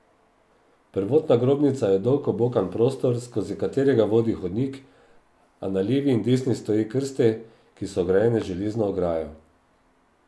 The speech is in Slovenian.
Prvotna grobnica je dolg obokan prostor, skozi katerega vodi hodnik, a na levi in desni stoje krste, ki so ograjene z železno ograjo.